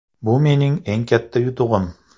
Bu mening eng katta yutug‘im.